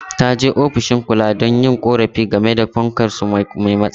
Ta je ofishin kula don yin korafi game da fankar su mai matsala.